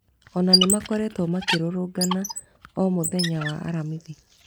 Ona nĩmakoretwo makĩrũrũngana o mũthenya wa Aramithi